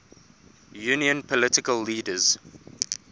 union political leaders